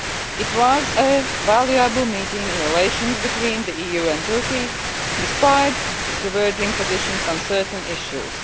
It was a valuable meeting for relations between the EU and Turkey, despite diverging positions on certain issues.